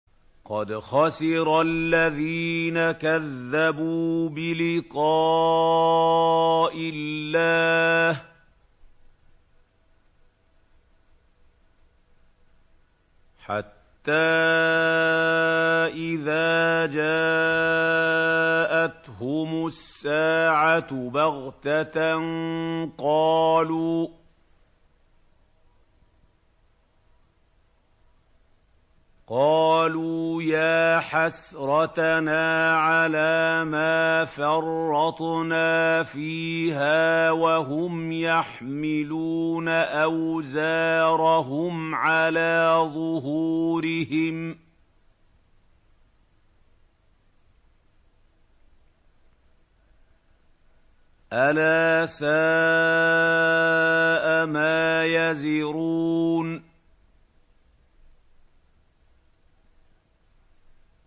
قَدْ خَسِرَ الَّذِينَ كَذَّبُوا بِلِقَاءِ اللَّهِ ۖ حَتَّىٰ إِذَا جَاءَتْهُمُ السَّاعَةُ بَغْتَةً قَالُوا يَا حَسْرَتَنَا عَلَىٰ مَا فَرَّطْنَا فِيهَا وَهُمْ يَحْمِلُونَ أَوْزَارَهُمْ عَلَىٰ ظُهُورِهِمْ ۚ أَلَا سَاءَ مَا يَزِرُونَ